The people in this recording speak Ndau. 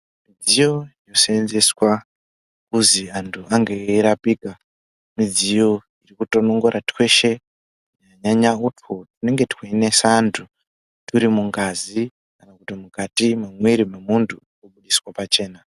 Midziyo yoseenzeswa kuzi antu ange eirapika, midziyo yekutonongora tweshe, kunyanya utwo twunenge tweinesa antu twurimungazi, kana kuti mukati mwemwiri vemuntu, twunobudiswe pachena.